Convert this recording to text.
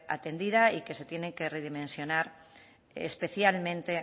atendida y que se tienen que redimensionar especialmente